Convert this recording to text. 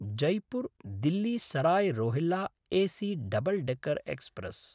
जैपुर्–दिल्ली Sarai Rohilla AC double decker express